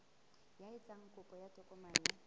ya etsang kopo ya tokomane